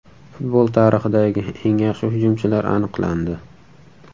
Futbol tarixidagi eng yaxshi hujumchilar aniqlandi.